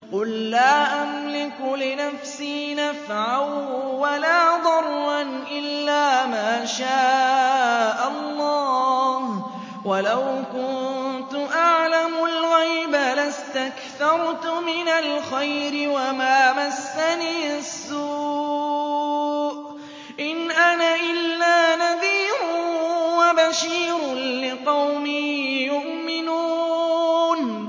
قُل لَّا أَمْلِكُ لِنَفْسِي نَفْعًا وَلَا ضَرًّا إِلَّا مَا شَاءَ اللَّهُ ۚ وَلَوْ كُنتُ أَعْلَمُ الْغَيْبَ لَاسْتَكْثَرْتُ مِنَ الْخَيْرِ وَمَا مَسَّنِيَ السُّوءُ ۚ إِنْ أَنَا إِلَّا نَذِيرٌ وَبَشِيرٌ لِّقَوْمٍ يُؤْمِنُونَ